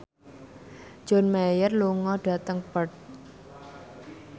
John Mayer lunga dhateng Perth